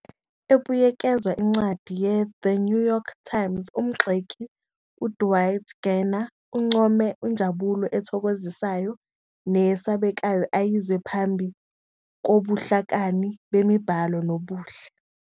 Ebuyekeza incwadi "yeThe New York Times", umgxeki uDwight Garner uncome "injabulo ethokozisayo neyesabekayo ayizwa phambi kobuhlakani bemibhalo nobuhle."